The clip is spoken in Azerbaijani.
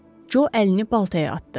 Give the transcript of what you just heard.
Co əlini baltaya atdı.